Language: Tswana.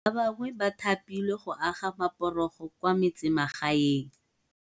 Ba bangwe ba tha pilwe go aga maporogo kwa metsemagaeng.